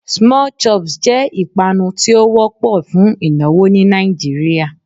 Small chops' jé ìpanu tí ó wópò fún ìnáwó ní Nàìjíríà